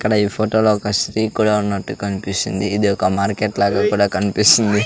ఇక్కడ ఈ ఫోటోలో ఒక స్త్రీ కూడా ఉన్నట్టు కనిపిస్తుంది ఇది ఒక మార్కెట్ లాగా కూడా కనిపిస్తుంది.